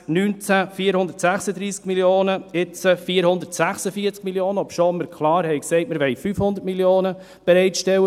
Im Jahr 2019 waren es 436 Mio. Franken, und jetzt sind es 446 Mio. Franken, obschon wir klar gesagt haben, wir wollten 500 Mio. Franken für die Investitionen bereitstellen.